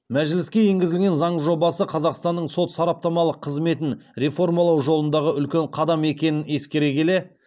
мәжіліске енгізілген заң жобасы қазақстанның сот сараптамалық қызметін реформалау жолындағы үлкен қадам екенін ескере келе